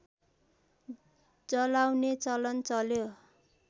जलाउने चलन चल्यो